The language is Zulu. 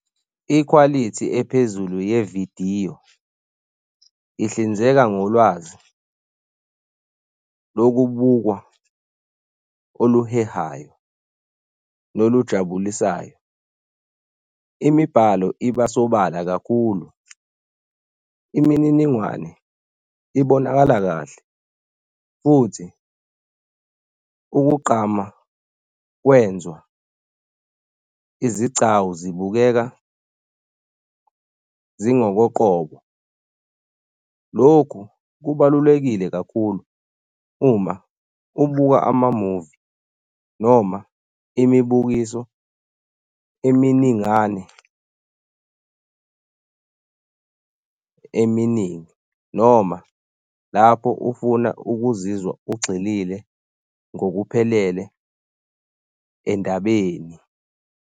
Ikhwalithi ephezulu yevidiyo ihlinzeka ngolwazi lokubukwa oluhehayo nolujabulisayo. Imibhalo iba sobala kakhulu. Imininingwane ibonakala kahle futhi ukugqama kwenzwa izigcawu zibukeka zingokoqobo. Lokhu kubalulekile kakhulu uma ubuka amamuvi noma imibukiso eminingane eminingi noma lapho ufuna ukuzizwa ugxilile ngokuphelele endabeni.